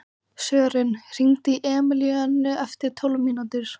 Sören, hringdu í Emilíönnu eftir tólf mínútur.